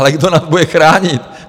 Ale kdo nás bude chránit?